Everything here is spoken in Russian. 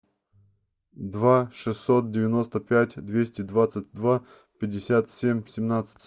два шестьсот девяносто пять двести двадцать два пятьдесят семь семнадцать